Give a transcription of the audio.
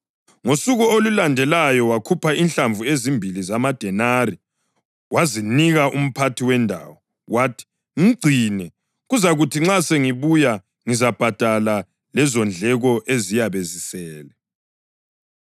Ngosuku olulandelayo wakhupha inhlamvu ezimbili zamadenari wazinika umphathi wendawo. Wathi, ‘Mgcine, kuzakuthi nxa sengibuya ngizabhadala lezondleko eziyabe zisele.’